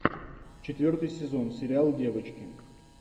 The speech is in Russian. четвертый сезон сериал девочки